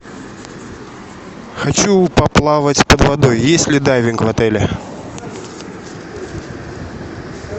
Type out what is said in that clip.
хочу поплавать под водой есть ли дайвинг в отеле